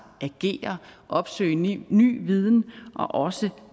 agere opsøge ny ny viden og også